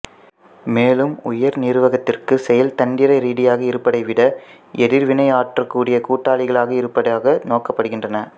மேலும் உயர் நிர்வாகத்திற்கு செயல்தந்திர ரீதியாக இருப்பதை விட எதிர்வினையாற்றக் கூடிய கூட்டாளிகளாக இருப்பதாக நோக்கப்படுகின்றனர்